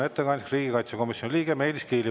Ettekandjaks palun riigikaitsekomisjoni liikme Meelis Kiili.